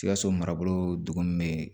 Sikaso marabolo duguni bɛ